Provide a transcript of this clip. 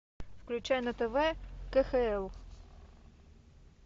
включай на тв кхл